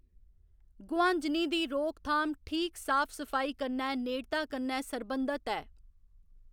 गुहांजनी दी रोक थाम ठीक साफ सफाई कन्नै नेड़ता कन्नै सरबंधत ऐ।